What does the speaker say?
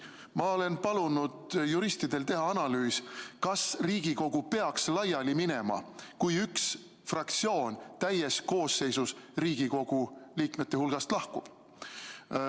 Ma olen palunud juristidel teha analüüsi, kas Riigikogu peaks laiali minema, kui üks fraktsioon täies koosseisus Riigikogu liikmete hulgast lahkub.